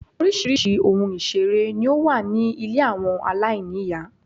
Oríṣiríṣi ohun ìṣeré ní ó wà ní ilé àwọn aláìní ìyá.